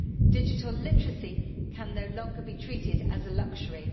Digital literacy can no longer be treated as a luxury.